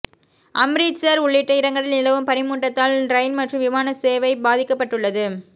அம்ரித்சர் உள்ளிட்ட இடங்களில் நிலவும் பனிமூட்டத்தால் ரயில் மற்றும் விமான சேவை பாதிக்கப்பட்டுள்ளது